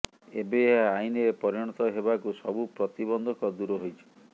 ଏବେ ଏହା ଆଇନରେ ପରିଣତ ହେବାକୁ ସବୁ ପ୍ରତିବନ୍ଧକ ଦୂର ହୋଇଛି